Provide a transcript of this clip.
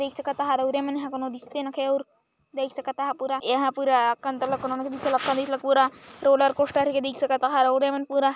देख सकता एहा पूरा यहाँ कोनो दिसते नखे अउ पूरा आकांत लकोनू न दू रोलर कोस्टर के देख सकत ह रउरे मन पूरा --